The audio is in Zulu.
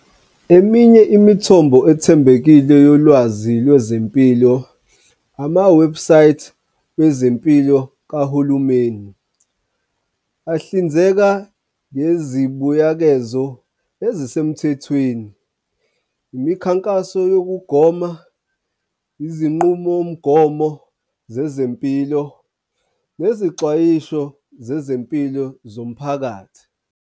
Eminye imithombo ethembekile yolwazi lwezempilo, amawebhisayithi wezempilo kahulumeni. Ahlinzeka nezibuyekezo ezisemthethweni, imikhankaso yokugoma, izinqumomgomo zezempilo nezixwayiso zezempilo zomphakathi.